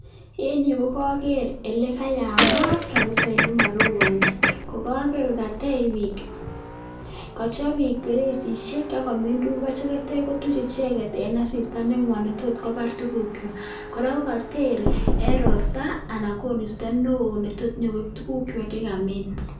En yuu ko koker oleyamat kabisaa elemoroboni, ko koker katech biik kochob biik bereisishek ak komin tukuk akityo kotuch icheket en asista nengwan netot kobar tukukwak, kora ko koter en robta anan koristo neoo netot inyokoib tukukwak chekamin.